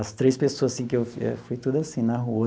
As três pessoas assim que eu eu foi tudo assim, na rua.